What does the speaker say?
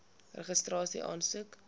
registrasieaansoek